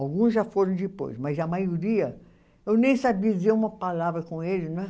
Alguns já foram depois, mas a maioria... Eu nem sabia dizer uma palavra com eles, não é?